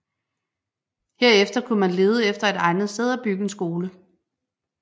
Herefter kunne man lede efter et egnet sted at bygge en skole